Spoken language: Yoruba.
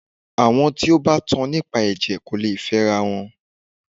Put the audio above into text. Àwọn tí o bá tan nípa ẹ̀jẹ̀ kò lè fẹ ara wọn.